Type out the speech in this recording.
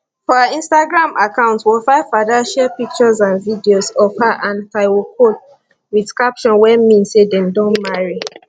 for her instagram account wofaifada share pictures and videos of her and taiwo cole wit captions wey mean say dem don marry